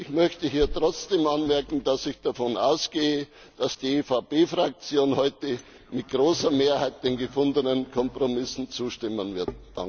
Ich möchte hier trotzdem anmerken, dass ich davon ausgehe, dass die EVP Fraktion heute mit großer Mehrheit den gefundenen Kompromissen zustimmen wird.